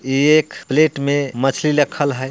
ये एक प्लेट में मछली रखल है।